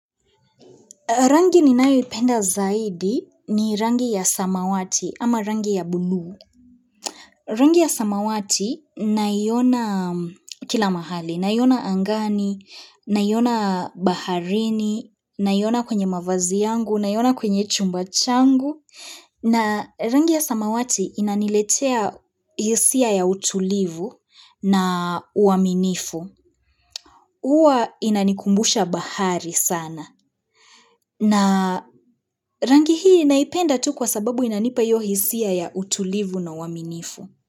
Rangi ninayoipenda zaidi ni rangi ya samawati ama rangi ya blu. Rangi ya samawati naiona kila mahali, naiona angani, naiona baharini, naiona kwenye mavazi yangu, naiona kwenye chumba changu. Rangi ya samawati naiona kila mahali, naiona angani, naiona baharini, naiona kwenye mavazi yangu, naiona kwenye chumba changu. Uwa inanikumbusha bahari sana. Na rangi hii naipenda tu kwa sababu inanipa hiyo hisia ya utulivu na uwaminifu.